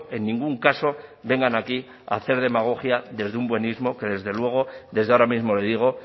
en ningún caso vengan aquí a hacer demagogia desde un buenísimo que desde luego desde ahora mismo le digo